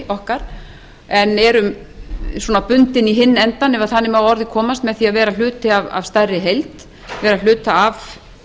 okkar en erum bundin í hinn endann ef þannig má að orði komast með því að vera hluti af stærri heild vera hluti af